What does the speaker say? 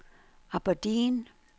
Aberdeen